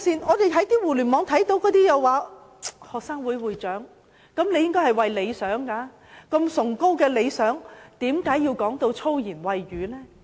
我們在互聯網上看到，一些青年人是學生會會長，他們應有崇高的理想，為何要說粗言穢語？